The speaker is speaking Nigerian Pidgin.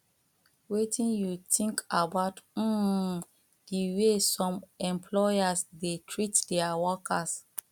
wetin you think about um di way some employers dey treat dia workers